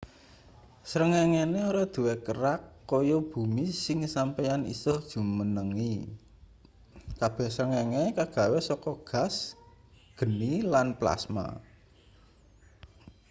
srengengene ora duwe kerak kaya bumi sing sampeyan isa jumenengi kabeh srengenge kagawe saka gas geni lan plasma